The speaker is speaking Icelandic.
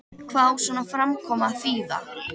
Hvað á svona framkoma að þýða?